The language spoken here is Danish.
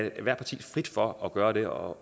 ethvert parti frit for at gøre det og